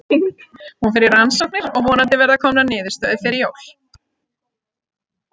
Hún fer í rannsóknir og vonandi verða komanr niðurstöður fyrir jól.